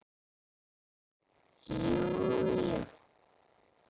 Jú jú.